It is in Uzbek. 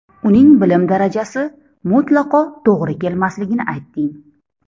Uning bilim darajasi mutlaqo to‘g‘ri kelmasligini aytding.